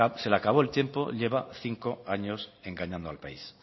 se le acabó el tiempo llevo cinco años engañando al país